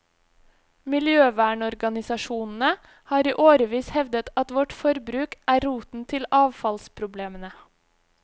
Miljøvernorganisasjonene har i årevis hevdet at vårt forbruk er roten til avfallsproblemene.